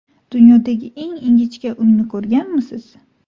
Dunyodagi eng ingichka uyni ko‘rganmisiz?